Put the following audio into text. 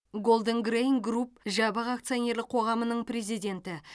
голден грэйн групп жабық акционерлік қоғамының президенті